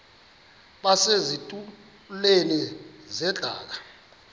base zitulmeni zedaka